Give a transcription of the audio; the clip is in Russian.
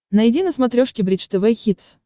найди на смотрешке бридж тв хитс